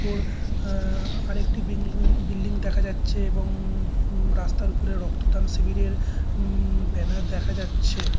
কর আ -আ আরেকটি বিল্ডিং বিল্ডিং দেখা যাচ্ছে এবং ও-ম রাস্তার উপরে রক্তদান শিবিরের ও-ম ও-ম ব্যানার দেখা যাচ্ছে।